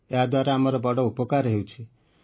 ୟା ଦ୍ୱାରା ଆମର ବଡ଼ ଉପକାର ହେଉଛି